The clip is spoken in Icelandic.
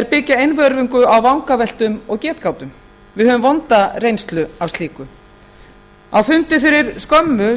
er byggja einvörðungu á vangaveltum og getgátum við höfum vonda reynslu af slíku á fundi fyrir skömmu sem